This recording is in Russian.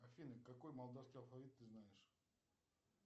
афина какой молдавский алфавит ты знаешь